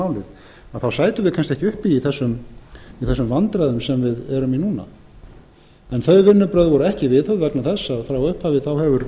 málið sætum við kannski ekki uppi í þessum vandræðum sem við erum í núna þau vinnubrögð voru ekki viðhöfð vegna þess að frá upphafi hefur